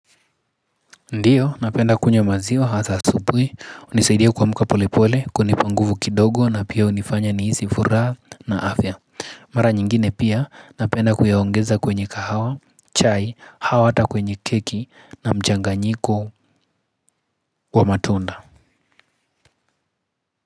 Ndiyo, napenda kunywa maziwa hasa asupui, hunisaidia kuamka pole pole, kunipa nguvu kidogo na pia unifanya ni hisi furaha na afya. Mara nyingine pia, napenda kuyaongeza kwenye kahawa, chai, au hata kwenye keki na mchanganyiko wa matunda.